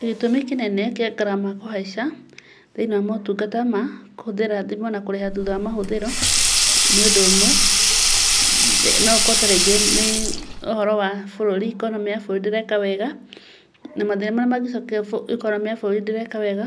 Gĩtũmi kĩnene kĩa ngarama kũhaica thĩinĩ wa motungata makũhũthĩra thimũ na kũrĩha thutha wa mahũthĩro, nĩũndũ ũmwe, noũkorwo tarĩngĩ nĩ ũhoro wa bũrũri, economĩ ya bũrũri gũkorwo ndĩreka wega, na mathĩna marĩa ũngĩkora bũrũri ndũreka wega,